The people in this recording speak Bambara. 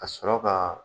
Ka sɔrɔ ka